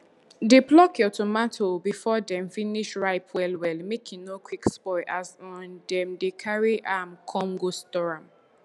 dey pluck your tomato before dem finish ripe well well make e no quick spoil as um dem dey carry am con go store am